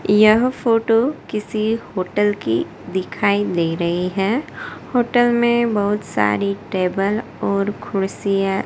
यह फोटो किसी होटल की दिखाई दे रही है। होटल में बहुत सारी टेबल और कुर्सियां--